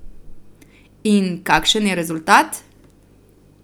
In kakšen je rezultat?